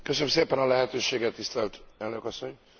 Köszönöm szépen a lehetőséget, tisztelt Elnök Asszony!